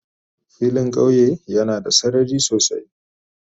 Filin kauye yana da sarari sosai.